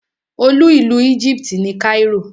Olú ìlú Egypt ni Cairo.